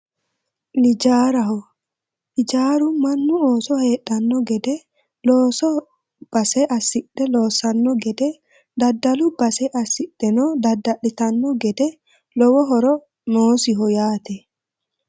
Ijaaraho, ijaaru mannu ooso heedhanno gede, loosu base assidhe loossanno gede, daddalu base assidheno dadda'litanno gedeno lowo horo noosiho yaate.